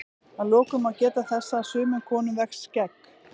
Að lokum má geta þess að sumum konum vex skegg.